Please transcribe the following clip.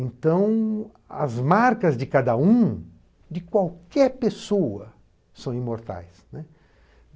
Então, as marcas de cada um, de qualquer pessoa, são imortais, né.